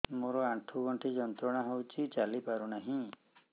ମୋରୋ ଆଣ୍ଠୁଗଣ୍ଠି ଯନ୍ତ୍ରଣା ହଉଚି ଚାଲିପାରୁନାହିଁ